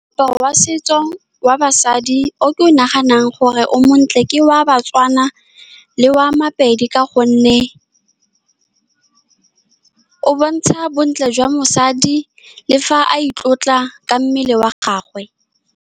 Moaparo wa setso wa basadi o ke o naganang gore o montle. Ke wa Batswana le wa Mapedi, ka gonne o bontsha bontle jwa mosadi le fa a itlotla ka mmele wa gagwe.